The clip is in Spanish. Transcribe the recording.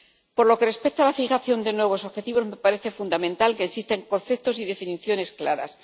Por lo que respecta a la fijación de nuevos objetivos, me parece fundamental que existan conceptos y definiciones claros.